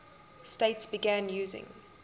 states began using